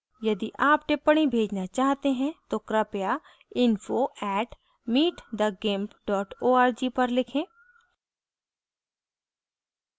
यदि आप टिप्पणी भेजना चाहते हैं तो कृपया info @meetthegimp org पर लिखें